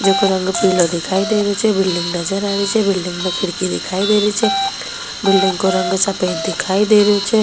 जिको रंग पिलो दिखाई दे रहियो छे बिल्डिंग नजर आ रही छे बिल्डिंग मे खिडकी दिखाई दे रही छे बिल्डिंग को रंग सफेद दिखाई दे रहियो छे।